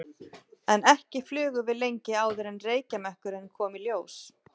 En ekki flugum við lengi áður en reykjarmökkurinn kom í ljós.